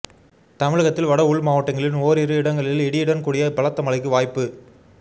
தமிழகத்தில் வட உள் மாவட்டங்களின் ஓரிரு இடங்களில் இடியுடன் கூடிய பலத்த மழைக்கு வாய்ப்பு